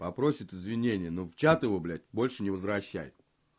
попросит извинения но в чат его блядь больше не возвращай